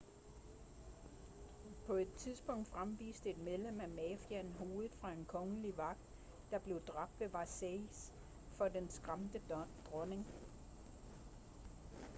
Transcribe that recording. på et tidspunkt fremviste et medlem af mafiaen hovedet fra en kongelig vagt der blev dræbt ved versailles for den skræmte dronning